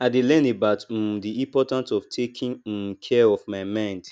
i dey learn about um di important of taking um care of my mind